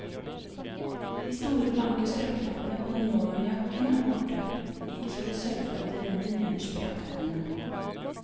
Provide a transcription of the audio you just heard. De store, blanke sølvknappene på den nåværende jakken er borte, likeså de sølvfarvede renner nederst på jakkeermene.